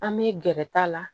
An bɛ gɛrɛ ta la